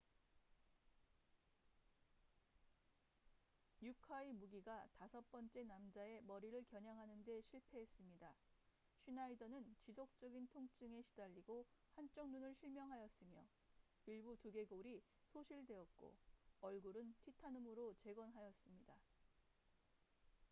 uka의 무기가 다섯 번째 남자의 머리를 겨냥하는데 실패했습니다 슈나이더는 지속적인 통증에 시달리고 한쪽 눈을 실명하였으며 일부 두개골이 소실되었고 얼굴을 티타늄으로 재건하였습니다